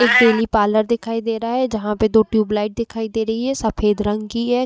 एक daily parlour दिखाई दे रहा है जहां पर दो ट्यूब लाइट दिखाई दे रही है सफ़ेद रंग की है।